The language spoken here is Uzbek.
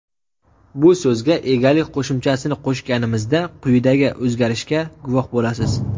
bu so‘zga egalik qo‘shimchasini qo‘shganimizda quyidagi o‘zgarishga guvoh bo‘lasiz:.